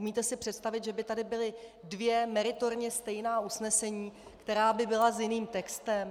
Umíte si představit, že by tady byla dvě meritorně stejná usnesení, která by byla s jiným textem?